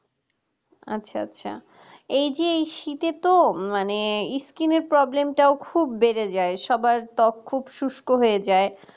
আচ্ছা আচ্ছা এই যে শীতে তো মানে skin এর problem টাও খুব বেড়ে যায় সবার ত্বক খুব শুষ্ক হয়ে যায়